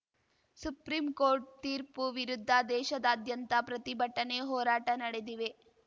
supreme court ತೀರ್ಪು ವಿರುದ್ಧ ದೇಶಾದ್ಯಂತ ಪ್ರತಿಭಟನೆ ಹೋರಾಟ ನಡೆದಿವೆ